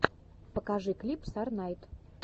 покажи клип сорнайд